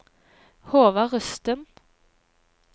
Håvard Rusten